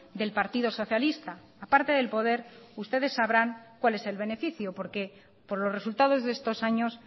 del partido socialista aparte del poder ustedes sabrán cuál es el beneficio porque por los resultados de estos años